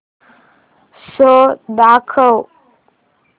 show दाखव